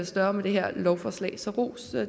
større med det her lovforslag så ros